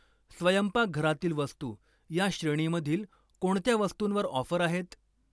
स्वयंपाकघरातील वस्तू या श्रेणीमधील कोणत्या वस्तुंवर ऑफर आहेत?